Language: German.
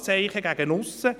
André Zurbuchen (d)